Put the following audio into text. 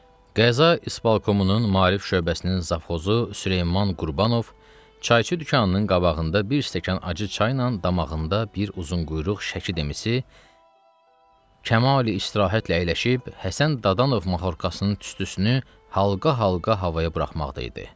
Qəza İspalkomunun Maarif şöbəsinin Zavxozu Süleyman Qurbanov, çayçı dükanının qabağında bir stəkan acı çayla damağında bir uzunquyruq Şəki dimisi Kamal istirahətlə əyləşib, Həsən Dadanov Mahorkasının tüstüsünü halqa-halqa havaya buraxmaqda idi.